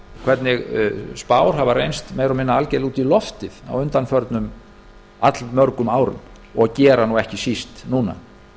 hvernig spár hafa reynst meira og minna algjörlega út í loftið á undanförnum allmörgum árum og eru ekki síst núna